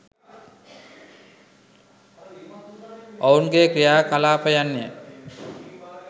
ඔවුන්ගේ ක්‍රියා කලාපයන්ය